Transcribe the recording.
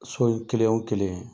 So in kelen o kelen